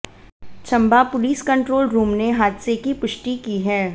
Chamba police control room ने हादसे की पुष्टि की है